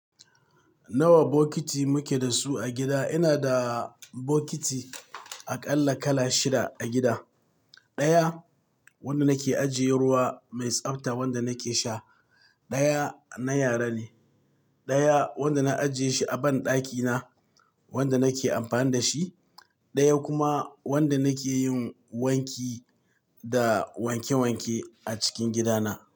Nawa bokiti muke da su a gida? Ina da bokiti aƙalla kala shida a gida. Ɗaya wanda nake ajiye ruwa mai tsabta wanda nake sha, ɗaya na yara ne, ɗaya wanda na ajiye shi a banɗaki na wanda nake amfani da shi, ɗaya kuma wanda nake yin wanki da wanke wanke a cikin gida na.